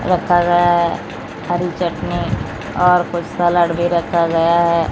रखा गया है हरी चटनी और कुछ सलाड भी रखा गया है।